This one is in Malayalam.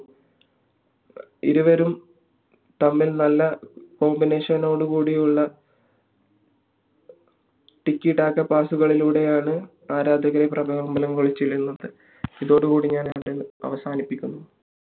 ഇരുവരും തമ്മിൽ നല്ല combination നോട് കൂടിയുള്ള pass കളിലൂടെ ആരാധകരെ പകൊലപാനം കൊള്ളിച്ചിരുന്നു ഇതോടുകൂടി ഞാൻ അവസാനിപ്പിക്കുന്നു